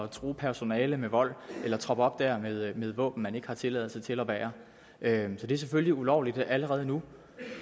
true personalet med vold eller at troppe op dér med våben man ikke har tilladelse til at bære så det er selvfølgelig ulovligt allerede nu